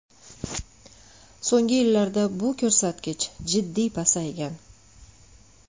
So‘nggi yillarda bu ko‘rsatkich jiddiy pasaygan.